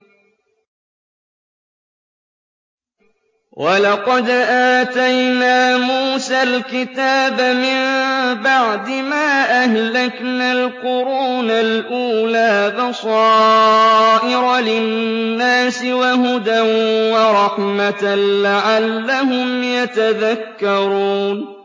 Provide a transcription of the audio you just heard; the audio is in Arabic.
وَلَقَدْ آتَيْنَا مُوسَى الْكِتَابَ مِن بَعْدِ مَا أَهْلَكْنَا الْقُرُونَ الْأُولَىٰ بَصَائِرَ لِلنَّاسِ وَهُدًى وَرَحْمَةً لَّعَلَّهُمْ يَتَذَكَّرُونَ